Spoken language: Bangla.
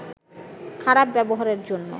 খারাপ ব্যবহারের জন্য